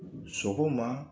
Sɔgɔma